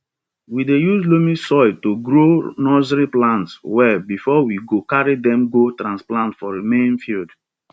we dey use loamy soil to grow nursery plants well before we go carry dem go transplant for main field